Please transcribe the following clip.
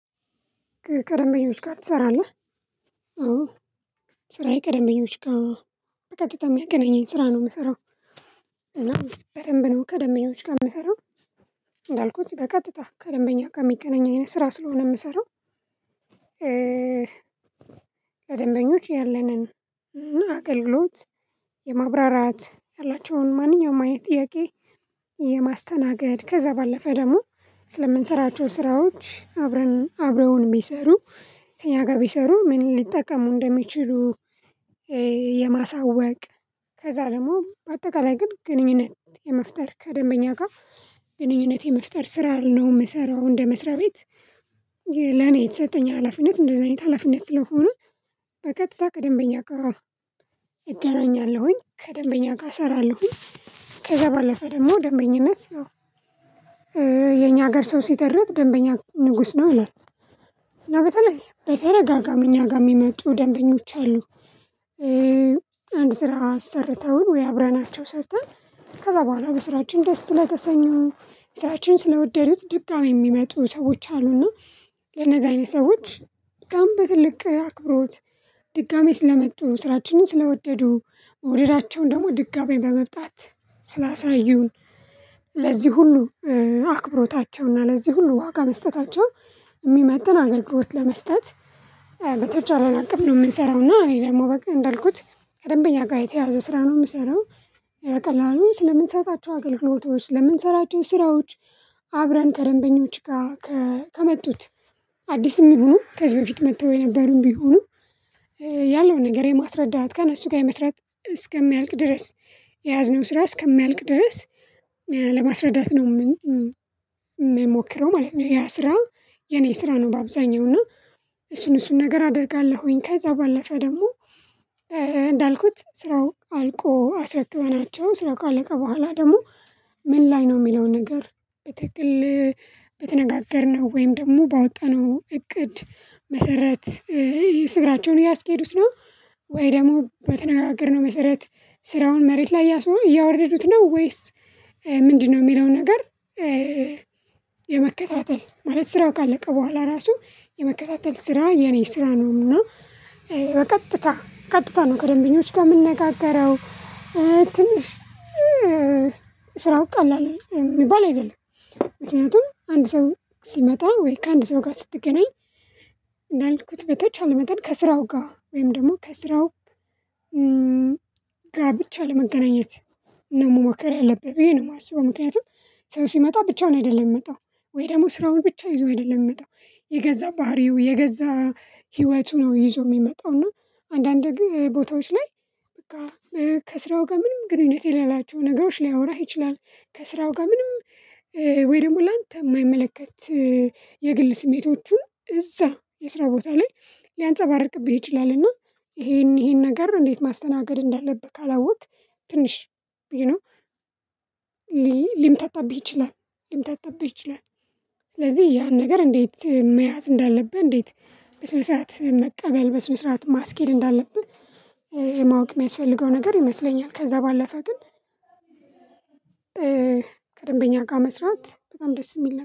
ከደበኞች ጋር ትሰራለህ? አዎ ስራዬ ከደበኞች ጋር በቀጥታ የሚያገናኘኝ ስራ ነው የምሰራው። እና በደንብ ነው ከደንበኞች ጋር የምሰራው። እንዳልኩት በቀጥታ ከደንበኛ ከሚገናኝ ስራ ስለሆነ የምሰራው። ከደንበኞች ያለንን አገልግሎት የማብራራት ያላቸውን ማንኛውም አይነት ጥያቄ የማስተናገድ ከዛ ባለፈ ደግሞ ስለምንሰራቸው ስራዎች አብረን አብረውን ቢሰሩ ከእኛ ጋር ቢሰሩ ምን ሊጠቀሙ እንደሚችሉ? የማሳወቅ ከዛ ደግሞ በአጠቃላይ ግን ግንኙነት የመፍጠር ከደንበኛ ጋር ግንኙነት የመፍጠር ስራ ነው የምሰራው። እንደ መስሪያ ቤት ለኔ የተሰጠኝ ሀላፊነት እንደዚህ አይነት ሀላፊነት ስለሆነ በቀጥታ ከደንበኛ ጋር እገናኛለሁኝ ከደንበኛ ጋር እሰራለሁኝ። ከዛ ባለፈ ደግሞ ደንበኝነት ያው የኛ ሀገር ሰው ሲተርት ደንበኛ ንጉስ ነው ይላል። እና በተለይ በተደጋጋሚ እኛ ጋር የሚመጡ ደንበኞች አሉ። አንድ ስራ አሰርተውን ወይ አብረናቸው ሰርተን ከዛ በኋላ በስራችን ደስ ስለተሰኙ ስራችን ስለወደዱት ድጋሚ የሚመጡ ሰዎች አሉና። ለነዛ አይነት ሰዎች በጣም በትልቅ አክብሮት ድጋሚ ስለመጡ ስራችንን ስለወደዱ መውደዳቸውን ደግሞ ድጋሚ በመምጣት ስላሳዩን ለዚህ ሁሉ አክብሮታቸውና ለዚህ ሁሉ ዋጋ መስጠታቸው የሚመጥን አገልግሎት ለመስጠት በተቻለን አቅም ነው የምንሰራው። እና እኔ ደግሞ በቃ እንዳልኩት ከደንበኛ ጋር የተያያዘ ስራ ነው የምሰራው። ቀላሉ ስለምንሰጣቸው አገልግሎቶች ስለምንሰራቸው ስራዎች አብረን ከደንበኞች ጋር ከመጡት አዲስም ይሁኑ ከዚህ በፊት መጥተው የነበሩም ቢሆኑ ያለውን ነገር የማስረዳት ከእነሱ ጋር የመስራት እስከሚያልቅ ድረስ የያዝነው ስራ እስከሚያልቅ ድረስ። ነው የምንሞክረው ማለት ነው። ያ ስራ የኔ ስራ ነው በአብዛኛው እና እሱን እሱን ነገር አደርጋለሁኝ ከዛ ባለፈ ደግሞ። እንዳልኩት ስራው አልቆ አስረክበናቸው ስራው ካለቀ በኋላ ደግሞ። ምን ላይ ነው የሚለውን ነገር? በትክክል ወይም ደግሞ ባወጣነው እቅድ መሰረት ስራቸውን እያስኬዱት ነው። ወይም ደግሞ በተነጋገርነው መሰረት ስራውን መሬት ላይ እያወረዱት ነው ወይስ ምንድነው የሚለው ነገር? የመከታተል ማለት ስራው ካለቀ በኋላ ራሱ የመከታተል ስራ የኔ ስራ ነውና። በቀጥታ ቀጥታ ነው ከደንበኞች ጋር የምንነጋገረው። ትንሽ ስራው ቀላል የሚባል አይደለም። ምክንያቱም አንድ ሰው ሲመጣ ወይ ከአንድ ሰው ጋር ስትገናኝ እንዳልኩት በተቻለ መጠን ከስራው ጋር ወይም ደግሞ ከስራው ጋብቻ ለመገናኘት ነው መሞከር ያለብህ ብዬ ነው የማስበው። ምክንያቱም ሰው ሲመጣ ብቻውን አይደለም የምመጣው ወይ ደግሞ ስራውን ብቻ ይዞ አይደለም የሚመጣው የገዛ ባህሪው የገዛ ህይወቱን ነው ይዞ የሚመጣው እና። አንዳንድ ግን ቦታዎች ላይ በቃ ከስራው ጋር ምንም ግንኙነት የሌላቸው ነገሮች ሊያወራህ ይችላል። ከስራው ጋር ምንም ወይ ደግሞ ላንተ የማይመለከት የግል ስሜቶቹን እዛ የስራ ቦታ ላይ ሊያንፀባርቅብህ ይችላል። እና ይሄን ነገር እንዴት ማስተናገድ እንዳለብህ ካላወቅክ ትንሽ ሊምታታብህ ይችላል። ስለዚህ ያን ነገር እንዴት መያዝ እንዳለብህ እንዴት በስነ ስርዓት መቀበል በስነ ስርዓት ማስኬድ እንዳለብህ ማወቅ የሚያስፈልገው ነገር ይመስለኛል። ከዛ ባለፈ ግን ከደንበኛ ጋር መስራት በጣም ደስ የሚል ነው